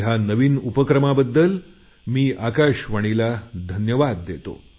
या नवीन उपक्रमाबद्दल मी आकाशवाणीला धन्यवाद देतो